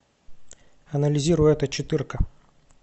анализируй это четырка